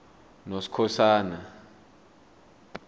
noskhosana